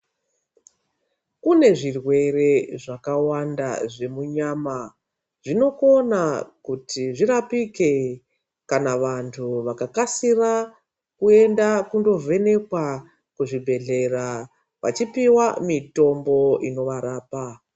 Kunezvirwere zvakawanda zvemunyama, zvinokona kuti zvirapike kana vantu vakakasira kuyenda kundovhenekwa kuzvibhedhlera, vachipiwa mitombo inovarapa.